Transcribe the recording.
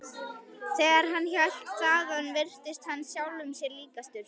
Þegar hann hélt þaðan virtist hann sjálfum sér líkastur.